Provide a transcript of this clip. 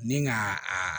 Ni ka a